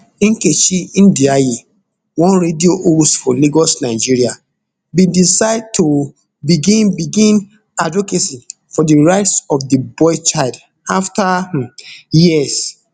nkechi ndiaye one radio host for lagos nigeria bin decide to begin begin advocacy for di rights of di boy child afta um years